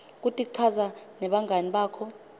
kutichaza nebangani bakho